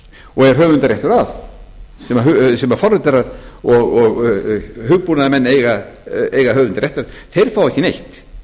og er höfundarréttur að sem forritarar og hugbúnaðarmenn eiga höfundarrétt að þeir fá ekki neitt